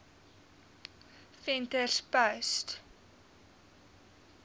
venterspost